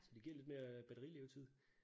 Så det giver lidt mere øh batterilevetid